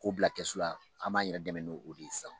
K'o bila kɛsu la an b'an yɛrɛ dɛmɛ no o de ye sisan.